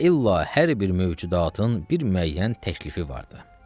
Və illa hər bir mövcudatın bir müəyyən təklifi vardır.